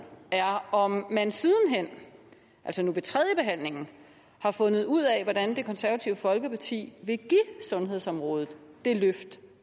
er om man siden hen altså nu ved tredjebehandlingen har fundet ud af hvordan det konservative folkeparti vil give sundhedsområdet det løft